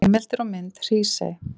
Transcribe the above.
Heimildir og mynd Hrísey.